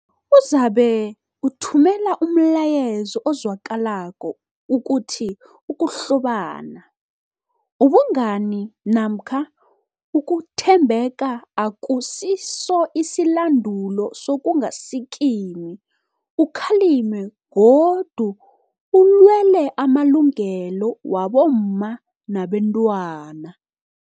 Uzabe uthumela umlayezo ozwakalako ukuthi ukuhlobana, ubungani namkha ukuthembeka akusiso isilandulo sokungasikimi ukhalime godu ulwele amalungelo wabomma nabentwana.